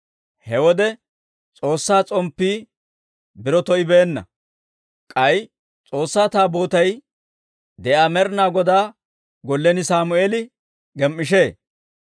He wode S'oossaa s'omppii biro to"ibeenna; k'ay S'oossaa Taabootay de'iyaa Med'inaa Godaa gollen Sammeeli gem"ishee.